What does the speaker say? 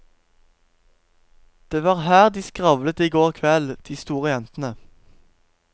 Det var her de skravlet i går kveld, de store jentene.